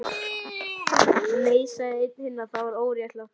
Nei, nei sagði einn hinna, það væri óréttlátt